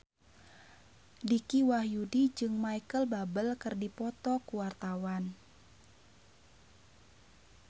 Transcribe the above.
Dicky Wahyudi jeung Micheal Bubble keur dipoto ku wartawan